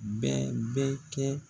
Bɛɛ bɛ kɛ